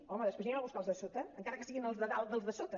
home després anirem a buscar els de sota encara que siguin els de dalt dels de sota